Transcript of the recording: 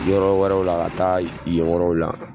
Yɔrɔ wɛrɛw la ka taa yen yɔrɔw la